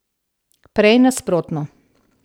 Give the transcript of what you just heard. Prej nasprotno.